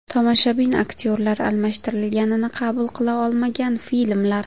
Tomoshabin aktyorlar almashtirilganini qabul qila olmagan filmlar.